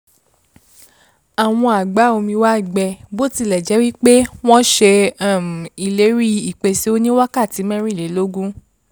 àwọn àgbá-omi wa gbẹ bó tilẹ̀ jẹ́ wí pé wọ́n ṣe um ìlérí ìpèsè oníwákàtí mẹ́rìnlélógún